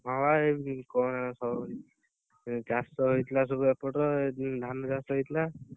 ହଁ ବା ଚାଷ ହେଇଥିଲା ସବୁ ଏପଟ ଧାନ ଚାଷ ହେଇଥିଲା